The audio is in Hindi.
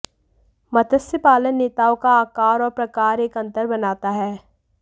मत्स्य पालन नेताओं का आकार और प्रकार एक अंतर बनाता है